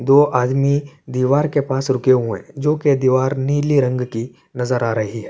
دہ ادمی دیوار کع پااس روکع حوءع حای، جو کع دیوار نیلع رنگ کی نزرآ رحی حای۔